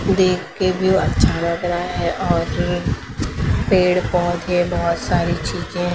देख के व्यू अच्छा लग रहा है और पेड़ पौधे बहुत सारी चीजें--